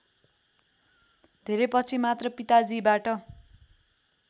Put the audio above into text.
धेरैपछि मात्र पिताजीबाट